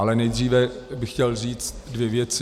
Ale nejdříve bych chtěl říct dvě věci.